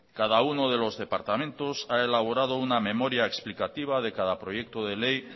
cada uno de los departamentos ha elaborado una memoria explicativa de cada proyecto de ley